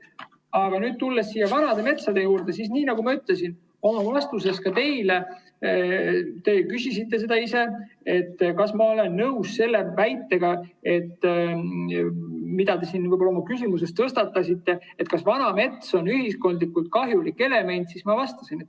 Aga tulles vanade metsade juurde, siis nii nagu ma ütlesin oma vastuses teile, kui te küsisite, kas ma olen nõus selle väitega, mida te oma küsimuses tõstatasite, et vana mets on ühiskondlikult kahjulik element: ei ole.